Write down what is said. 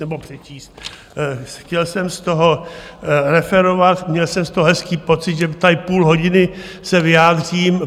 Nebo přečíst, chtěl jsem z toho referovat, měl jsem z to hezký pocit, že tady půl hodiny se vyjádřím.